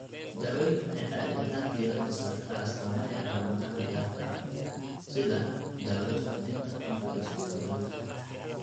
Daaweyntu waxay caadi ahaan diiradda saartaa astaamaha iyo calaamadaha gaarka ah (sida daawada suuxdinta) marka ay suurtagal tahay.